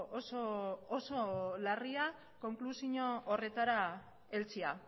oso oso larria konklusio horretara heltzea